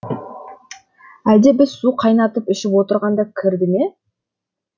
әлде біз су қайнатып ішіп отырғанда кірді ме